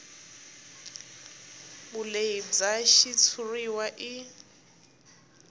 vulehi bya xitshuriwa i